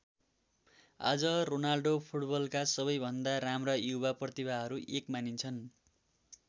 आज रोनाल्डो फुटबलका सबै भन्दा राम्रा युवा प्रतिभाहरूमा एक मानिन्छन्।